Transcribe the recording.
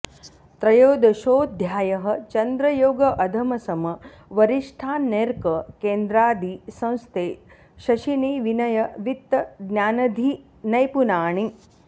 त्रयोदशोऽध्यायः चन्द्रयोग अधम सम वरिष्ठान्यर्क केन्द्रादि संस्थे शशिनि विनय वित्त ज्ञानधी नैपुणानि